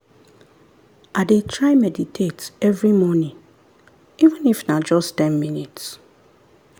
i dey try meditate every morning even if na just ten minutes